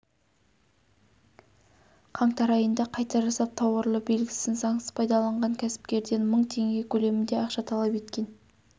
қаңтар айында қайта жасап тауарлы белгісін заңсыз пайдаланған кәсіпкерден мың теңге көлемінде ақша талап еткен